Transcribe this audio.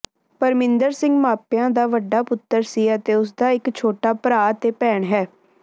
ਪਰਮਿੰਦਰ ਸਿੰਘ ਮਾਪਿਆਂ ਦਾ ਵੱਡਾ ਪੁੱਤਰ ਸੀ ਅਤੇ ਉਸਦਾ ਇਕ ਛੋਟਾ ਭਰਾ ਅਤੇ ਭੈਣ ਹੈ